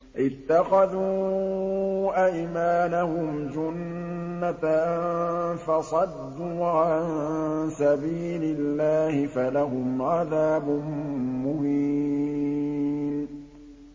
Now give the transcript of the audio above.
اتَّخَذُوا أَيْمَانَهُمْ جُنَّةً فَصَدُّوا عَن سَبِيلِ اللَّهِ فَلَهُمْ عَذَابٌ مُّهِينٌ